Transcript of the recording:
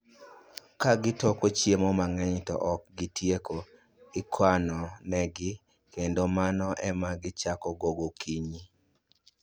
Ka gitoko chiemo mang'eny to ok gitieko, ikano ne gi, kendo mano ema gichako go gokinyi